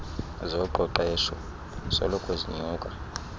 zoqeqeshpo soloko zinyusa